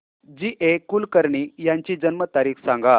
जी A Kulkarni यांची जन्म तारीख सांग